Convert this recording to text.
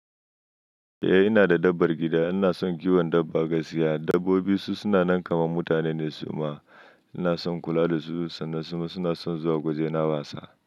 Eh ina da dabbar gida. Ina son kiwon dabba gaskiya. Dabbobi su na nan kamar mutane ne, su ma ina son kula da su sannan su ma suna son zuwa waje na wasa.